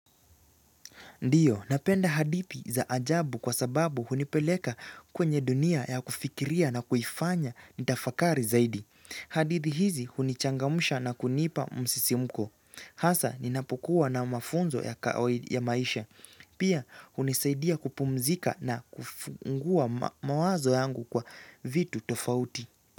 Ndiyo, napenda hadithi za ajabu kwa sababu hunipeleka kwenye dunia ya kufikiria na kuifanya nitafakari zaidi. Hadithi hizi hunichangamsha na kunipa msisimko. Hasa, ninapokuwa na mafunzo ya maisha. Pia, hunisaidia kupumzika na kufungua mawazo yangu kwa vitu tofauti.